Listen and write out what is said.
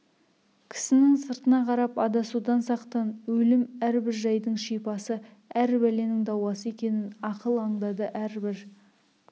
кісінің сыртына қарап адасудан сақтан өлім әрбір жайдың шипасы әр бәленің дауасы екенін ақыл аңдады әрбір